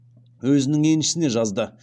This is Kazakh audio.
өзінің еншісіне жазды